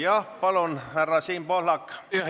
Jah, palun, härra Siim Pohlak!